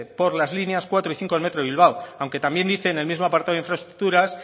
por las líneas cuatro y cinco del metro de bilbao aunque también dice en el mismo apartado de infraestructuras